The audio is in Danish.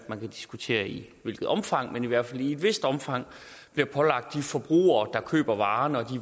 man kan diskutere i hvilket omfang men i hvert fald i et vist omfang bliver pålagt de forbrugere der køber varen og